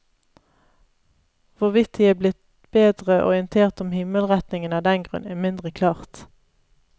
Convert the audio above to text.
Hvorvidt de er blitt bedre orientert om himmelretningene av den grunn, er mindre klart.